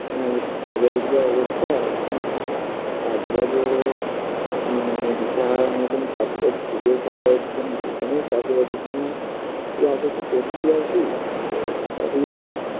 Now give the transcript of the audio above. আর বাজারের যা অবস্থা এখন কাজবাজেরও সব মানে দিশাহারার মতন কাজবাজ খুঁজে পাওয়া যাচ্ছে না, যেখানেই কাজ বাজের জন্য যা কিছু করছি আরকি তো সবই ওই